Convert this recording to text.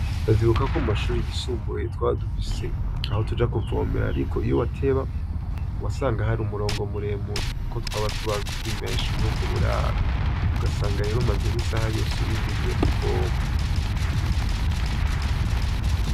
Ndavyibukako mumashure yisumbuye twari dufise aho tuja kuvomera ariko iyo wateba, wasanga har’umurongo muremure, kuko twaba turi benshi murubwo buraro ugasanga rero umaze nk’isaha yose urindiriye kuvoma.